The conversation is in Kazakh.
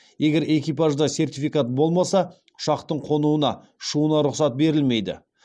егер экипажда сертификат болмаса ұшақтың қонуына ұшуына рұқсат берілмейді